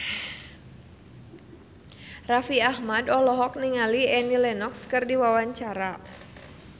Raffi Ahmad olohok ningali Annie Lenox keur diwawancara